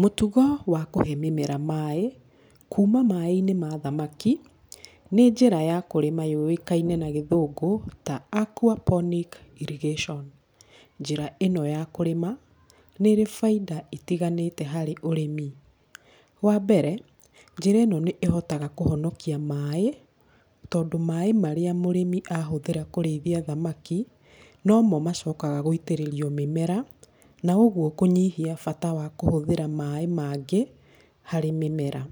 Mũtugo wa kũhe mũmera maaĩ kuma maaĩ-inĩ ma thamaki, nĩ njĩra ya kũrĩma yũĩkaine na gĩthũgũ ta Aquaponic irrigation. Njĩra ĩno ya kũrĩma nĩ ĩrĩ baita itiganĩte harĩ ũrĩmi. Wa mbere, njĩra ĩno nĩ ĩhotaga kũhonokia maaĩ tondũ maaĩ marĩa mũrĩmi ahũthĩra kũrĩithia thamaki nomo macokaga gũitĩrĩrio mĩmera. Na ũguo kũnyihia bata wa kũhũthĩra maaĩ mangĩ harĩ mĩmera.